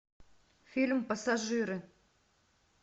фильм пассажиры